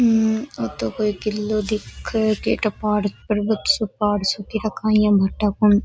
हम्म ओ तो कोई किलो दिखे कई ठा पहाड़ पर्वत सो पहाड़ सो काई ठा काई है भाटा --